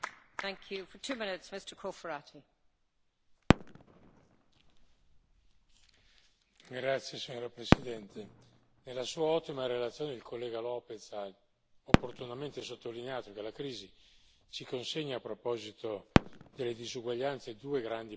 Signora Presidente, onorevoli colleghi, nella sua ottima relazione il collega López ha opportunamente sottolineato che la crisi ci consegna, a proposito delle disuguaglianze, due grandi blocchi di temi il primo è quello di carattere sociale, il secondo è quello di carattere economico.